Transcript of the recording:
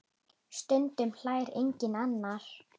Stundum hlær enginn annar.